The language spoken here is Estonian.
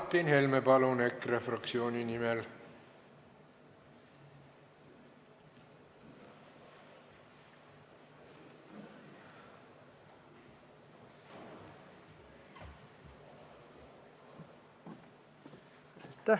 Martin Helme, palun, EKRE fraktsiooni nimel!